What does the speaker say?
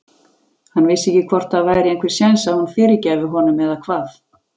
Hann vissi ekkert hvort það væri einhver sjens að hún fyrirgæfi honum eða hvað.